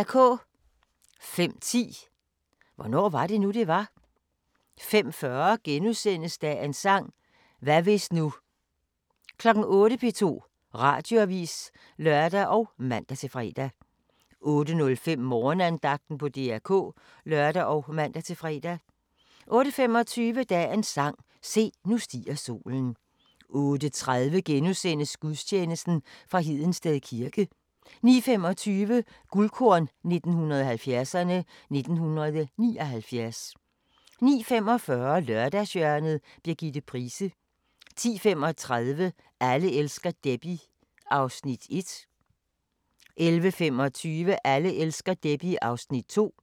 05:10: Hvornår var det nu, det var? 05:40: Dagens sang: Hvad hvis nu * 08:00: P2 Radioavis (lør og man-fre) 08:05: Morgenandagten på DR K (lør og man-fre) 08:25: Dagens sang: Se, nu stiger solen 08:30: Gudstjeneste fra Hedensted kirke * 09:25: Guldkorn 1970'erne: 1979 09:45: Lørdagshjørnet – Birgitte Price 10:35: Alle elsker Debbie (1:3) 11:25: Alle elsker Debbie (2:3)